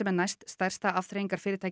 næststærsta